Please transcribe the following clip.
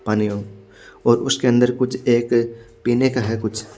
पानी यो और उसके अन्दर कुछ एक पिने का है कुछ--